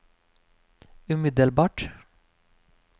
umiddelbart